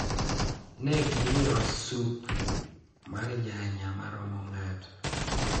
Ne gimiwa supu mar nyanya mamoro ng’ato